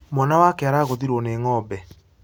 Mwana wake aragũthirwo nĩ ng'ombe